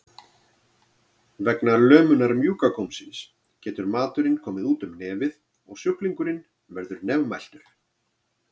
Vegna lömunar mjúka gómsins getur maturinn komið út um nefið og sjúklingurinn verður nefmæltur.